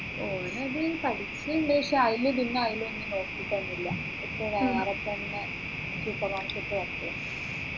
ഓന് അത് പഠിക്കുന്നുണ്ട് പക്ഷേ അതിൽ അതിലൊന്നും നോക്കിയിട്ടെനെ ഇല്ല ഇപ്പോ ഒരാളെ തന്നെ supermarket ൽ work ചെയ്യുന്നു